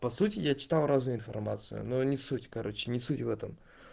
по сути я читал разную информацию но не суть короче не суть в этом